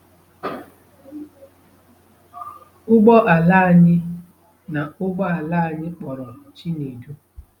Ụgbọ ala anyị na ụgbọ ala anyị kpọrọ Chinedu